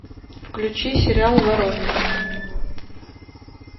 включи сериал воронины